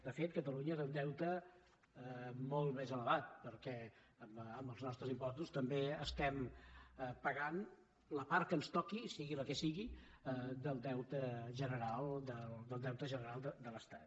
de fet catalunya té un deute molt més elevat perquè amb els nostres impostos també paguem la part que ens toqui sigui la que sigui del deute general de l’estat